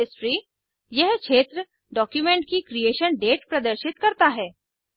history यह क्षेत्र document की क्रिएशन डेट प्रदर्शित करता है